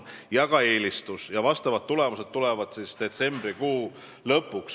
Tulemused laekuvad detsembrikuu lõpuks.